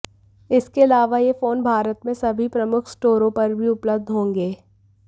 इसके अलावा ये फोन भारत में सभी प्रमुख स्टोरों पर भी उपलब्ध होंगे